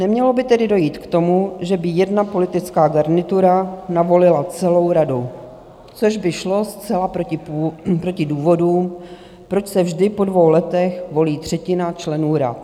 Nemělo by tedy dojít k tomu, že by jedna politická garnitura navolila celou radu, což by šlo zcela proti důvodům, proč se vždy po dvou letech volí třetina členů rad.